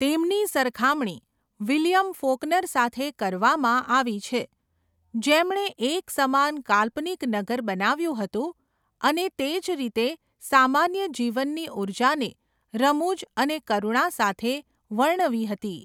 તેમની સરખામણી William Faulkner સાથે કરવામાં આવી છે જેમણે એક સમાન કાલ્પનિક નગર બનાવ્યું હતું અને તે જ રીતે સામાન્ય જીવનની ઉર્જાને રમૂજ અને કરુણા સાથે વર્ણવી હતી.